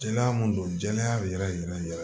Jɛnɛya mun don jɛnɛya yɛrɛ yɛrɛ yɛrɛ